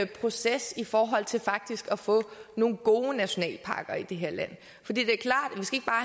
proces i forhold til faktisk at få nogle gode nationalparker i det her land fordi det